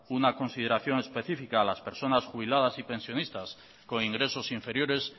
una consideración especifica a las personas jubiladas y pensionistas con ingresos inferiores